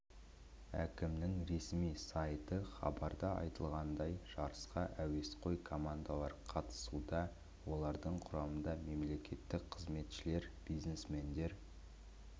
әкімінің ресми сайты хабарда айтылғандай жарысқа әуесқой командалар қатысуда олардың құрамында мемлекеттік қызметшілер бизнесмендер